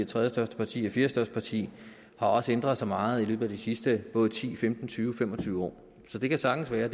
tredjestørste parti og fjerdestørste parti har også ændret sig meget i løbet af de sidste både ti femten tyve og fem og tyve år så det kan sagtens være